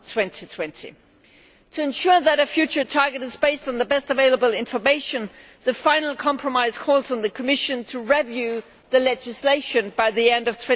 2020. To ensure that our future target is based on the best available information, the final compromise calls on the Commission to review the legislation by the end of